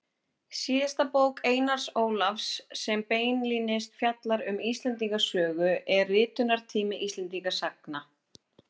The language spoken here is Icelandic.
Síðasta bók Einars Ólafs sem beinlínis fjallar um Íslendingasögur er Ritunartími Íslendingasagna.